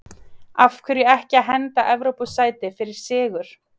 Af hverju ekki að henda Evrópusæti fyrir sigur?